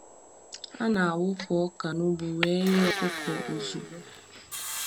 A na-awụpụ ọka n’ugbo wee nye ọkụkọ ozugbo.